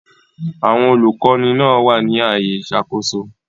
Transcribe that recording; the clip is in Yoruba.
Àwọn olùkọ́ni náà wà ní ààyè ìṣàkóso.